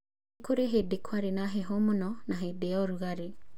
Nĩ kũrĩ hĩndĩ kwarĩ na heho mũno na hĩndĩ ya ũrugarĩ.